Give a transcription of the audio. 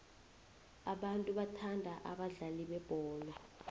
abantu bathanda abadlali bebholo